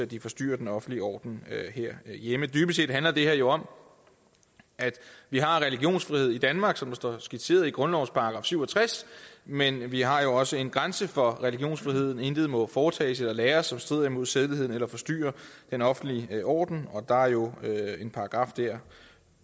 de forstyrrer den offentlige orden herhjemme dybest set handler det her jo om at vi har religionsfrihed i danmark som det står skitseret i grundlovens § syv og tres men vi har jo også en grænse for religionsfriheden intet må foretages eller læres som strider imod sædeligheden eller forstyrrer den offentlige orden og der er jo en paragraf der